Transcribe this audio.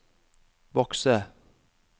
bokse